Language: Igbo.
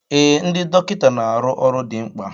Ee, ndị dọkịta na arụ ọrụ dị mkpa